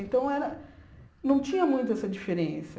Então era, não tinha muito essa diferença.